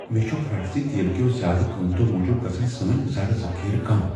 مےٚ چھُ پھرٛٹھ ز تیل کیو زیادٕ قیمتو موجب گژھن سٲنۍ زرٕ ذخیرٕ کم۔